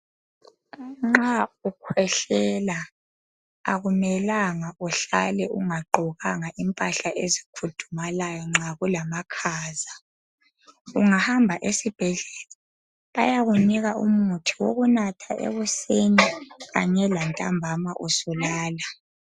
Nxa ukhwehlela akumelanga uhlale ungagqokanga impahla ezikhudumalayo nxa kulamakhaza ungahamba esibhedlela bayakunika umuthi wokunatha ekuseni kanye lantambama usulala.